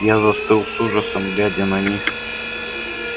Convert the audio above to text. я застыл с ужасом глядя на них